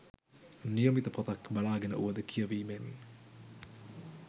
නියමිත පොතක් බලාගෙන වුවද කියවීමෙන්